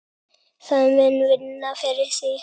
Það mun vinna fyrir þig.